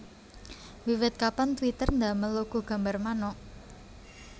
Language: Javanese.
Wiwit kapan Twitter ndamel logo gambar manuk